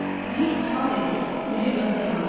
Biri ishal dedi, biri qızdırma.